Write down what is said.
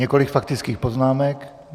Několik faktických poznámek.